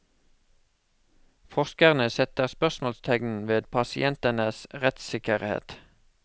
Forskerne setter spørsmålstegn ved pasientenes rettssikkerhet.